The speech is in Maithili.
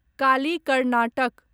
काली कर्नाटक